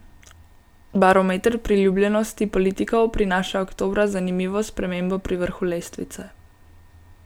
Barometer priljubljenosti politikov prinaša oktobra zanimivo spremembo pri vrhu lestvice.